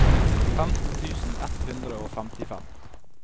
femten tusen ett hundre og femtifem